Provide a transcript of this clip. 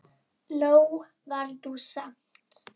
Nóg var nú samt.